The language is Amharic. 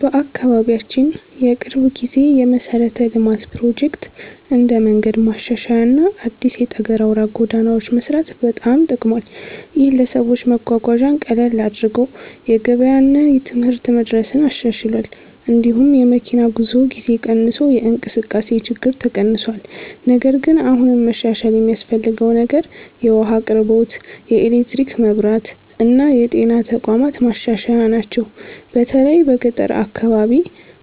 በአካባቢያችን የቅርብ ጊዜ የመሠረተ ልማት ፕሮጀክት እንደ መንገድ ማሻሻያ እና አዲስ የጠገና አውራ ጎዳናዎች መስራት በጣም ጠቅሟል። ይህ ለሰዎች መጓጓዣን ቀላል አድርጎ የገበያ እና የትምህርት መድረስን አሻሽሏል። እንዲሁም የመኪና ጉዞ ጊዜ ቀንሶ የእንቅስቃሴ ችግኝ ተቀንሷል። ነገር ግን አሁንም መሻሻል የሚያስፈልገው ነገር የውሃ አቅርቦት፣ የኤሌክትሪክ መብራት እና የጤና ተቋማት ማሻሻያ ናቸው። በተለይ በገጠር አካባቢ